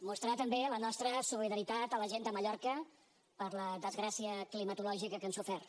mostrar també la nostra solidaritat a la gent de mallorca per la desgràcia climatològica que han sofert